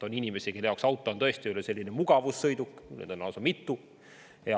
On inimesi, kelle jaoks auto on tõesti mugavussõiduk, mida on lausa mitu.